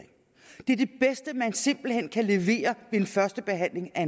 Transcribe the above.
simpelt hen kan levere ved en første behandling af